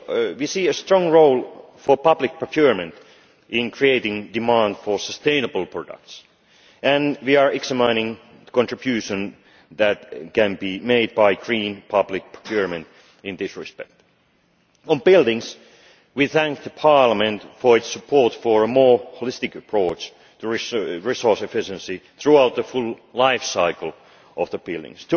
We see a strong role for public procurement in creating demand for sustainable products, and we are examining the contribution that can be made by green public procurement in this respect. On buildings, we thank Parliament for its support for a more holistic approach to resource efficiency throughout the full life cycle of buildings.